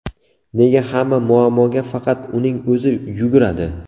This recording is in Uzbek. Nega hamma muammoga faqat uning o‘zi yuguradi?